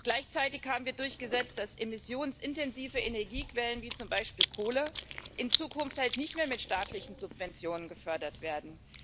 Gleichzeitig haben wir durchgesetzt, dass emissionsintensive Energiequellen wie zum Beispiel Kohle in Zukunft nicht mehr mit staatlichen Subventionen gefördert werden.